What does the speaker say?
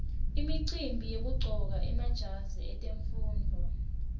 imicimbi yekuqcoka emajazi etemfundvo